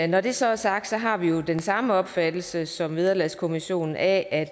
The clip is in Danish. når det så er sagt har vi jo den samme opfattelse som vederlagskommissionen af at